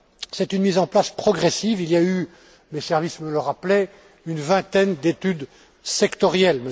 C'est une mise en place progressive. Il y a eu mes services me le rappelaient une vingtaine d'études sectorielles.